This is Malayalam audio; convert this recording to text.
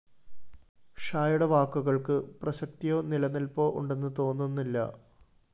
ഷായുടെ വാക്കുകള്‍ക്ക് പ്രസക്തിയോ നിലനില്‍പ്പോ ഉണ്ടെന്ന് തോന്നുന്നില്ല